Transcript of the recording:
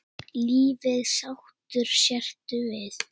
Lífið sáttur sértu við.